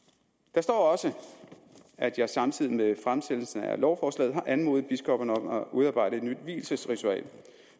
der står også at jeg samtidig med fremsættelsen af lovforslaget har anmodet biskopperne om at udarbejde et nyt vielsesritual